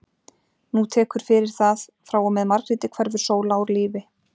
Nú tekur fyrir það, frá og með Margréti hverfur Sóla úr lífi